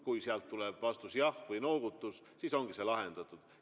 Kui sealt tuleb vastus "jah" või noogutus, siis ongi see lahendatud.